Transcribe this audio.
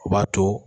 O b'a to